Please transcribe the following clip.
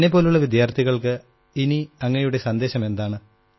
എന്നെപ്പോലുള്ള വിദ്യാർഥികൾക്ക് ഇനി അങ്ങയുടെ സന്ദേശമെന്താണ്